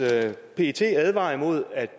pet advarer imod at